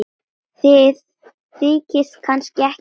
Þið þykist kannski ekkert skilja?